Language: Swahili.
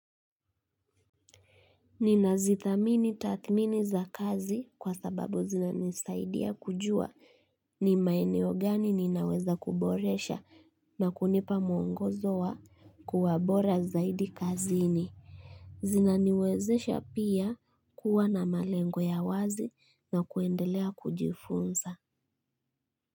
Ninazithamini tathmini za kazi kwa sababu zinanisaidia kujua ni maeneo gani ninaweza kuboresha na kunipa mwongozo wa kuwa bora zaidi kazini zinaniwezesha pia kuwa na malengo ya wazi na kuendelea kujifunza.